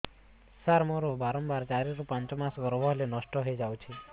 ସାର ମୋର ବାରମ୍ବାର ଚାରି ରୁ ପାଞ୍ଚ ମାସ ଗର୍ଭ ହେଲେ ନଷ୍ଟ ହଇଯାଉଛି